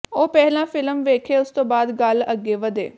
ਉਹ ਪਹਿਲਾਂ ਫਿਲਮ ਵੇਖੇ ਉਸ ਤੋਂ ਬਾਅਦ ਗੱਲ ਅੱਗੇ ਵਧੇ